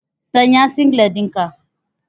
Sanya singlet ɗinka.